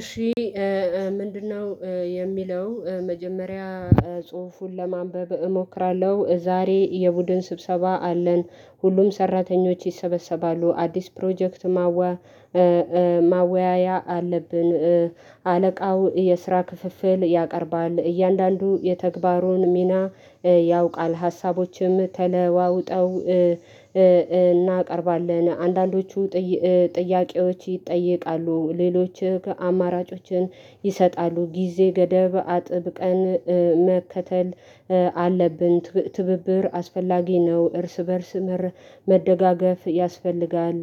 እሺ ምንድነው? የሚለው መጀመሪያ ጽሁፉን ለማንበብ እሞክራለሁ ዛሬ የቡድን ስብሰባ አለን ሁሉም ሰራተኞች ይሰበሰባሉ አዲስ ፕሮጀክት ማወያያ አለብን። አለቃው የስራ ክፍፍል ያቀርባል እያንዳንዱ የተግባሩን ሚና ያውቃል። ሀሳቦችም ተለዋውጠው እናቀርባለን አንዳንዶቹ ጥያቄዎች ይጠየቃሉ ሌሎች አማራጮችን ይሰጣሉ ጊዜ ገደብ አጥብቀን መከተል አለብን ትብብር አስፈላጊ ነው እርስ በእርስ መደጋገፍ ያስፈልጋል።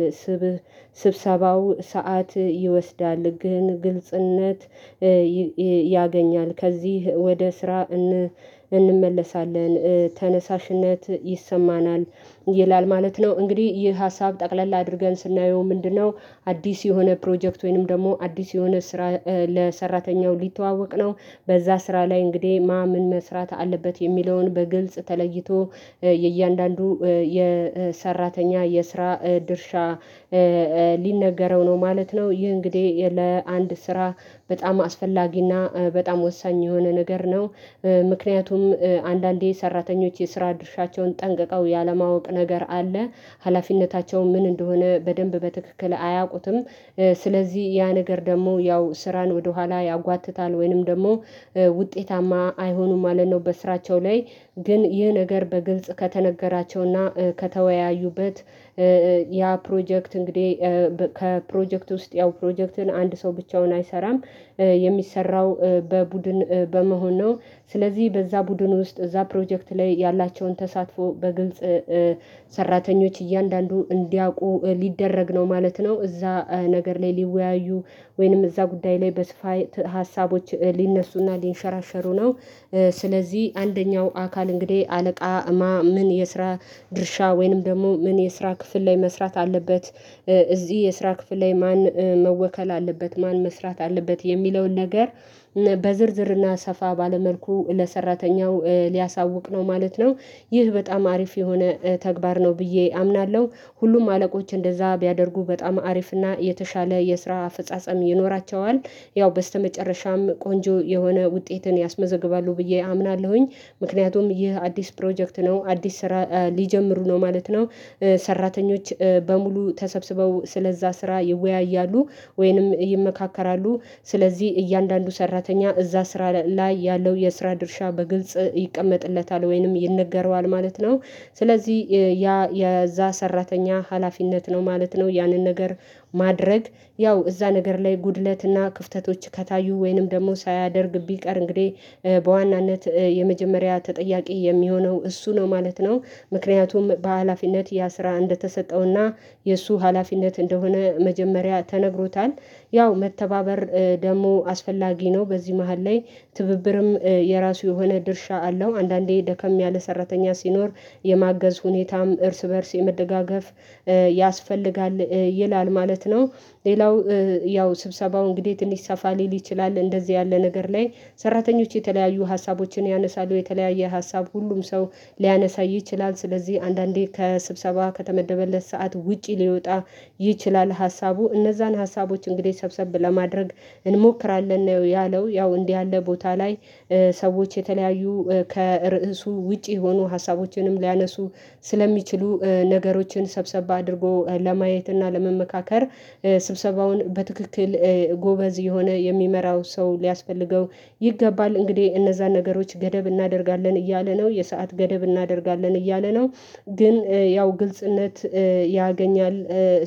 ስብሰባው ሰዓት ይወስዳል ግን ግልጽነት ያገኛል ከዚህ ወደ ስራ እንመለሳለን ተነሳሽነት ይሰማናል ይላል ማለት ነው። እንግዲህ ይህ ሀሳብ ጠቅለል አድርገን ስናየው ምንድነው አዲስ የሆነ ፕሮጀክት ወይንም ደግሞ አዲስ የሆነ ስራ ለሰራተኛው ሊተዋወቅ ነው። በዛ ስራ ላይ እንግዲህ ማን ምን መስራት አለበት የሚለውን በግልጽ ተለይቶ የእያንዳንዱ የሰራተኛ የስራ ድርሻ ሊነገረው ነው ማለት ነው። ይህ እንግዲህ ለአንድ ስራ በጣም አስፈላጊና በጣም ወሳኝ የሆነ ነገር ነው። ምክንያቱም አንዳንዴ ሰራተኞች የስራ ድርሻቸውን ጠንቅቀው ያለማወቅ ነገር አለ ሀላፊነታቸው ምን እንደሆነ በደንብ በትክክል አያውቁትም። ስለዚህ ያ ነገር ደግሞ ያው ስራን ወደኋላ ያጓትታል ወይንም ደግሞ ውጤታማ አይሆኑም ማለት ነው። በስራቸው ላይ ግን ይህ ነገር በግልጽ ከተነገራቸውና ከተወያዩበት ያ ፕሮጀክት እንግዲህ ከፕሮጀክት ውስጥ ያው ፕሮጀክትን አንድ ሰው ብቻውን አይሰራም የሚሰራው በቡድን በመሆን ነው። ስለዚህ በዛ ቡድን ውስጥ እዛ ፕሮጀክት ላይ ያላቸውን ተሳትፎ በግልጽ ሰራተኞች እያንዳንዱ እንዲያውቁ ሊደረግ ነው ማለት ነው። እዛ ነገር ላይ ሊወያዩ ወይንም እዛ ጉዳይ ላይ በስፋት ሀሳቦች ሊነሱና ሊንሸራሸሩ ነው። ስለዚህ አንደኛው አካል እንግዲህ አለቃ ማን ምን የስራ ድርሻ ወይንም ደግሞ ምን የስራ ክፍል ላይ መስራት አለበት እዚህ የስራ ክፍል ላይ ማን መወከል አለበት ማን መስራት አለበት የሚለውን ነገር በዝርዝርና ሰፋ ባለ መልኩ ለሰራተኛው ሊያሳውቅ ነው ማለት ነው። ይህ በጣም አሪፍ የሆነ ተግባር ነው ብዬ አምናለሁ ሁሉም አለቆች እንደዛ ቢያደርጉ በጣም አሪፍና የተሻለ የስራ አፍጻጻም ይኖራቸዋል። ያው በስተመጨረሻም ቆንጆ የሆነ ውጤትን ያስመዘግባሉ ብዬ አምናለሁኝ። ምክንያቱም ይህ አዲስ ፕሮጀክት ነው አዲስ ስራ ሊጀምሩ ነው ማለት ነው። ሰራተኞች በሙሉ ተሰብስበው ስለዛ ስራ ይወያያሉ ወይንም ይመካከራሉ ስለዚህ እያንዳንዱ ሰራተኛ እዛ ስራ ላይ ያለው የስራ ድርሻ በግልጽ ይቀመጥለታል ወይንም ይነገረዋል ማለት ነው። ስለዚህ ያ የዛ ሰራተኛ ሀላፊነት ነው ማለት ነው ያንን ነገር ማድረግ ያው እዛ ነገር ላይ ጉድለትና ክፍተቶች ከታዩ ወይንም ደግሞ ሳያደርግ ቢቀር እንግዲህ በዋናነት የመጀመሪያ ተጠያቂ የሚሆነው እሱ ነው ማለት ነው። ምክንያቱም በሃላፊነት ያ ስራ እንደተሰጠውና የእሱ ሀላፊነት እንደሆነ መጀመሪያ ተነግሮታል ያው መተባበር ደግሞ አስፈላጊ ነው በዚህ መሃል ላይ ትብብርም የራሱ የሆነ ድርሻ አለው አንዳንዴ ደከም ያለ ሰራተኛ ሲኖር የማገዝ ሁኔታም እርስ በእርስ የመደጋገፍ ያስፈልጋል ይላል ማለት ነው። ሌላው ያው ስብሰባው እንግዴት እንዲሰፋ ሊል ይችላል እንደዚህ ያለ ነገር ላይ ሰራተኞች የተለያዩ ሀሳቦችን ያነሳሉ የተለያየ ሀሳብ ሁሉም ሰው ሊያነሳ ይችላል ስለዚህ አንዳንዴ ከስብሰባ ከተመደበለት ሰዓት ውጪ ሊወጣ ይችላል ሀሳቡ እነዛን ሀሳቦች እንግዲህ ሰብሰብ ለማድረግ እንሞክራለን ነው ያለው ያው እንዲህ ያለ ቦታ ላይ ሰዎች የተለያዩ ከርዕሱ ውጪ የሆኑ ሀሳቦችንም ሊያነሱ ስለሚችሉ ነገሮችን ሰብሰብ አድርጎ ለማየት እና ለመመካከር ስብሰባውን በትክክል ጎበዝ የሆነ የሚመራው ሰው ሊያስፈልገው ይገባል። እንግዲህ እነዛን ነገሮች ገደብ እናደርጋለን እያለ ነው የሰዓት ገደብ እናደርጋለን እያለ ነው ግን ያው ግልጽነት ያገኛል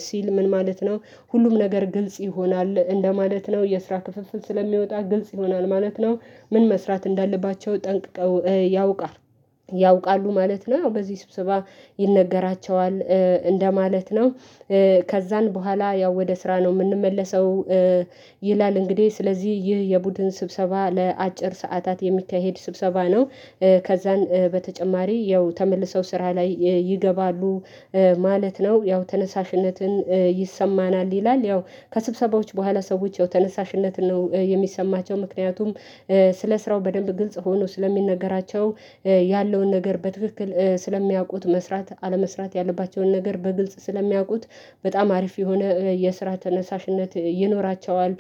ሲል ምን ማለት ነው ሁሉም ነገር ግልጽ ይሆናል እንደማለት ነው የስራ ክፍፍል ስለሚወጣ ግልጽ ይሆናል ማለት ነው። ምን መስራት እንዳለባቸው ጠንቅቀው ያውቃሉ ያውቃሉ ማለት ነው በዚህ ስብስባ ይነገራቸዋል እንደማለት ነው። ከዛን በኋላ ያው ወደ ስራ ነው እምንመለሰው ይላል እንግዲህ ስለዚህ ይህ የቡድን ስብሰባ ለአጭር ሰዓታት የሚታካሄድ ስብሰባ ነው። ከዛን በተጨማሪ ያው ተመልሰው ስራ ላይ ይገባሉ ማለት ነው። ያው ተነሳሽነትን ይሰማናል ይላል ያው ከስብሰባዎች በኋላ ሰዎች ተነሳሽነትን ነው የሚሰማቸው ምክንያቱም ስለ ስራው በደንብ ግልጽ ሆኖ ስለሚነገራቸው ያለውን ነገር በትክክል ስለሚያውቁት መስራት አለመስራት ያለባቸውን ነገር በግልጽ ስለሚያውቁት በጣም አሪፍ የሆነ የስራ ተነሳሽነት ይኖራቸዋል።